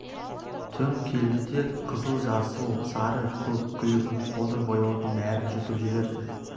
түн келді де қызыл жасыл сары көк күлгін қоңыр бояудың бәрін жұтып жіберді